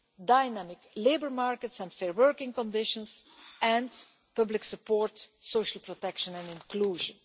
also, dynamic labour markets and fair working conditions and public support, social protection and inclusion.